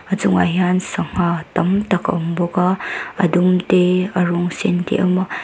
a chungah hian sangha tam tak a awm bawk a a dum te a rawng sen te awm a.